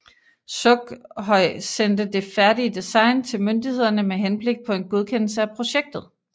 Sukhoj sendte det færdige design til myndighederne med henblik på en godkendelse af projektet